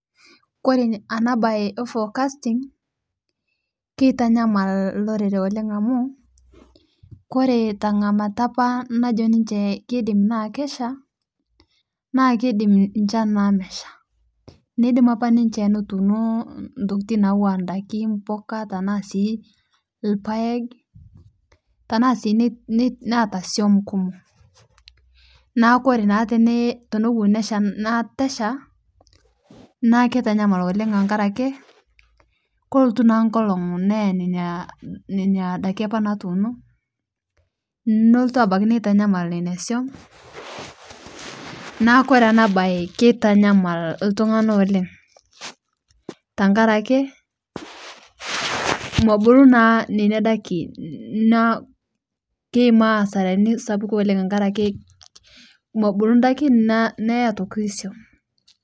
Ore ena mbae ee forecasting kitamyamal olorere oleng amu ore tengamata najo apa ninche Kesha naa kidim enchan aa meshaa nidim apa ninche netuno ntokitin nawuo daikin mbuka tenaa sii irpaek tena sii netaa nkumon neeku ore tenewuaji teneitu esha naa kitanyamal oleng tenkaraki kelotu naa enkolog nenya Nena daiki apa natunoki nelotu abaiki nitanyamal asum neeku ore ena mbae ekitanyamal iltung'ana oleng tenkaraki mebulu naa nena daiki naa keyimaa nkasarani kumok tenkaraki mebulu daiki